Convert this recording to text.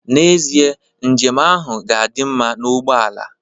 N'ezie, njem ahụ ga-adị mma na ugbo ala